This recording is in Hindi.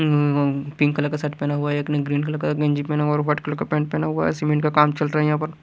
अ पिंक कलर का शर्ट पहना हुआ है एक ने ग्रीन कलर का गेंजी पहना हुआ और व्हाईट कलर का पेंट पहना हुआ है सीमेंट का काम चल रहा है यहाँ पर।